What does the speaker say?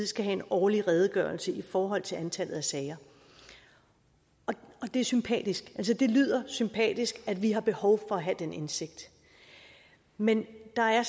skal have en årlig redegørelse i forhold til antallet af sager og det er sympatisk altså det lyder sympatisk at vi har behov for at have den indsigt men der er